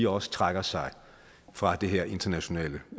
også trækker sig fra det her internationale